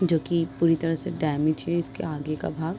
जोकि पूरी तरह से डेमेज हैं इसके आगे का भाग --